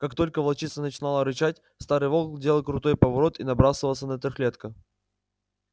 как только волчица начинала рычать старый волк делал крутой поворот и набрасывался на трёхлетка